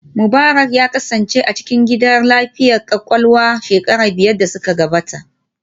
Mubarak ya kasance a cikin gidan lafiyar kwakwalwa shekaru biyar da suka gabata